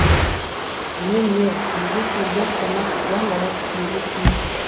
мен не үйге келген қонақ дәм ауыз тиюге тиіс